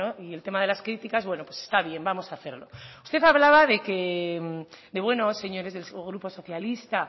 y el tema de las críticas bueno pues está bien vamos a hacerlo usted hablaba que bueno señores del grupo socialista